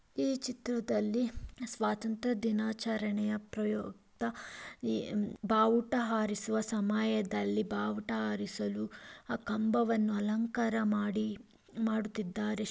ಈ ಚಿತ್ರದಲ್ಲಿ ಸ್ವತಂತ್ರದಿನಚರಣೆಯನ್ನು ಪ್ರಯುಕ್ತ ಬಾವುಟ ಹರಿಸುವ ಸಮಯದಲ್ಲಿ ಬಾವುಟ ಹಾರಿಸಲು ಕಂಬವನ್ನು ಅಲಂಗಕರ ಮಾಡಿದ್ದಾರೆ.